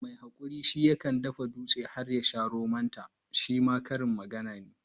Mai hakuri shi ke dafa dutse har ya sa romon ta shima karin magana ne.